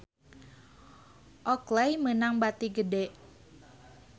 Oakley meunang bati gede